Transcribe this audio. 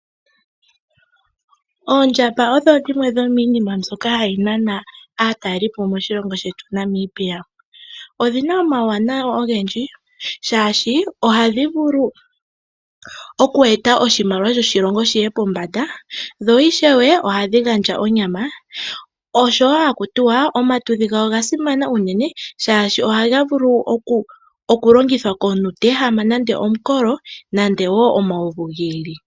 Oondjamba odho dhimwe dhomiinima mbyoka hayi nana aatalelipo moshilongo shetu Namibia. Odhi na omawuwanawa ogendji shaashi ohadhi vulu oku eta oshimaliwa shoshilongo shiye pombanda. Dho ishewe ohadhi gandja onyama. Oshowo haku tiwa omatudhi gawo oga simana uunene shashi ohaga vulu okulongithwa komuntu te ehama nande omukolo, nande wo omauvu gi ili.